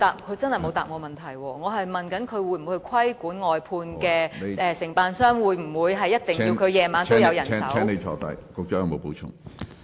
我問局長會否規管外判承辦商，會否規定晚上必須有人手進行清潔工作。